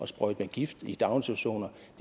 sprøjte med gift i daginstitutioner